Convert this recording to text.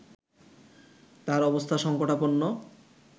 তার অবস্থা সংকটাপন্ন